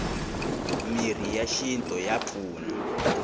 mirhi ya xinto ya pfuna